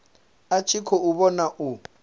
a tshi khou vhona u